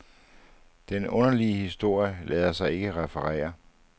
Den underlige historie lader sig ikke referere.